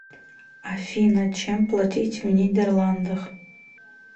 афина чем платить в нидерландах